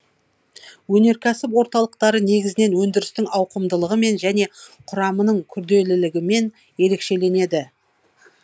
өнеркәсіп орталықтары негізінен өндірістің ауқымдылығымен және құрамының күрделілігімен ерекшеленеді